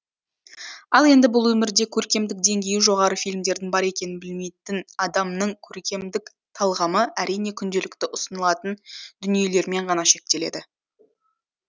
ал енді бұл өмірде көркемдік деңгейі жоғары фильмдердің бар екенін білмейтін адамның көркемдік талғамы әрине күнделікті ұсынылатын дүниелермен ғана шектеледі